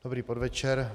Dobrý podvečer.